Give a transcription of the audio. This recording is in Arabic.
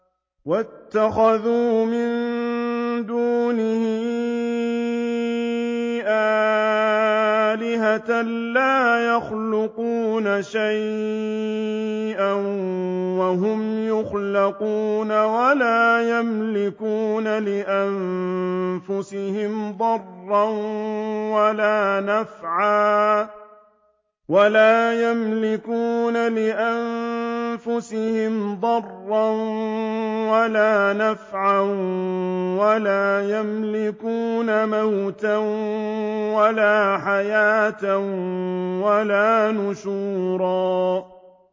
وَاتَّخَذُوا مِن دُونِهِ آلِهَةً لَّا يَخْلُقُونَ شَيْئًا وَهُمْ يُخْلَقُونَ وَلَا يَمْلِكُونَ لِأَنفُسِهِمْ ضَرًّا وَلَا نَفْعًا وَلَا يَمْلِكُونَ مَوْتًا وَلَا حَيَاةً وَلَا نُشُورًا